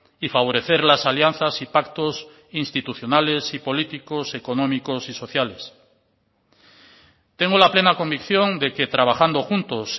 y favorecer las alianzas y pactos institucionales y políticos económicos y sociales tengo la plena convicción de que trabajando juntos